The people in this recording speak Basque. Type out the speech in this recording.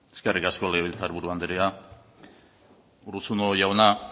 eskerrik asko legebiltzar buru andrea urruzuno jauna